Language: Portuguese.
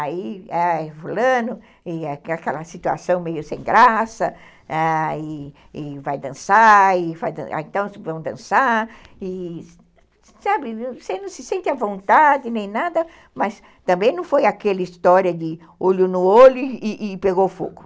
Aí é fulano, e aquela situação meio sem graça, ãh, e e vai dançar, então vão dançar, e sabe, você não se sente à vontade, nem nada, mas também não foi aquela história de olho no olho e e pegou fogo.